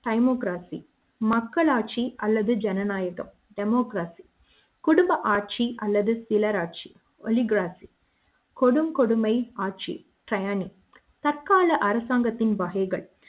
சைமோகிராபி மக்களாட்சி அல்லது ஜனநாயகம் democracy குடும்ப ஆட்சி அல்லது சிலர் ஆட்சி ஒளி கிராபி கொடும் கொடுமை ஆட்சி செயனி தற்கால அரசாங்கத்தின் வகைகள்